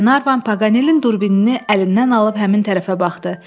Klenarvan Paqanelinin durbini əlindən alıb həmin tərəfə baxdı.